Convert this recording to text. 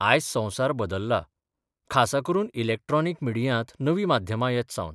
आज संबसार बदल्ला खासा करून इलॅक्ट्रॉनिक मिडियांत नवीं माध्यमां येतसावन.